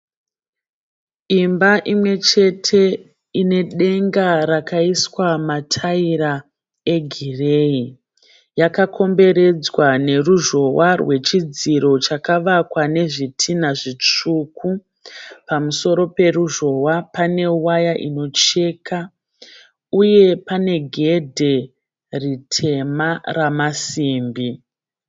Imba imwe chete ine denga rakaiswa mataira egireyi. Yakakomberedzwa neruzhowa rwechidziro chakavakwa nezvitinha zvitsvuku. Pamusoro peruzhowa pane waya inocheka uye pane gedhe ritema ramasimbi.